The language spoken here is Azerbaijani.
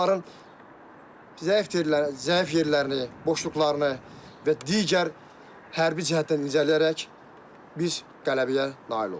Onların zəif yerlərini, boşluqlarını və digər hərbi cəhətdən incələyərək biz qələbəyə nail olduq.